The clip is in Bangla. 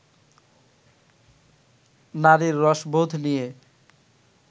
নারীর রসবোধ নিয়ে